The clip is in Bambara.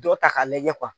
Dɔ ta k'a lajɛ